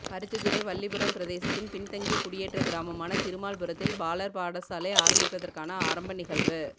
பருத்தித்துறை வல்லிபுரம் பிரதேசத்தின் பின்தங்கிய குடியேற்ற கிராமமான திருமால் புரத்தில் பாலர் பாடசாலை ஆரம்பிப்பதற்கான ஆரம்ப நிகழ்வு